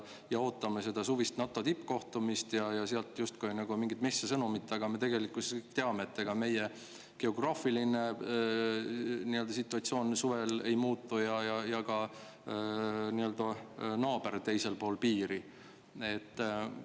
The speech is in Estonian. Ootame seda suvist NATO tippkohtumist ja sealt justkui mingit messia sõnumit, aga me tegelikkuses teame, et ega meie geograafiline situatsioon ja ka naaber teisel pool piiri suvel ei muutu.